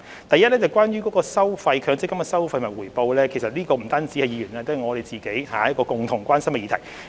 第一，關於強積金計劃的收費及回報，這不單是議員關心的議題，也是政府關心的議題。